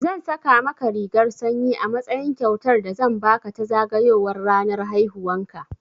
Zan saƙa maka rigar sanyi a matsayin kyautar da zan baka ta zagayowar ranar haihuwan ka.